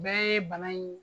Bɛɛ ye bana in